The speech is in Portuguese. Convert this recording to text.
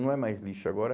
Não é mais lixo agora.